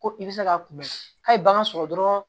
Ko i bɛ se ka kunbɛn k'a ye bagan sɔrɔ dɔrɔn